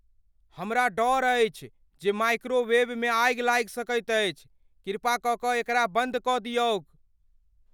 हमरा डर अछि जे माइक्रोवेवमे आगि लागि सकैत अछि। कृपा क के एकरा बन्द कऽ दियौक।